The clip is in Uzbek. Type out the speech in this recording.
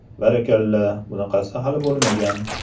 “Barakalla, bunaqasi hali bo‘lmagan!